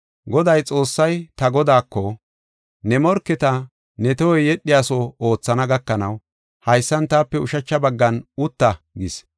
“ ‘Godaa Xoossay, ta Godaako, ne morketa ne tohoy yedhiyaso oothana gakanaw, haysan taape ushacha baggan utta’ gis.